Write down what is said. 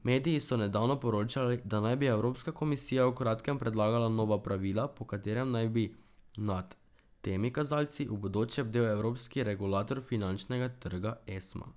Mediji so nedavno poročali, da naj bi Evropska komisija v kratkem predlagala nova pravila, po katerem naj bi nad temi kazalci v bodoče bdel evropski regulator finančnega trga Esma.